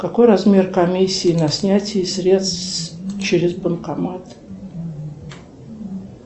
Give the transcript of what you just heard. какой размер комиссии на снятие средств через банкомат